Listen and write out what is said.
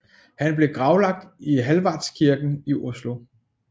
Han blev gravlagt i Hallvardskirken i Oslo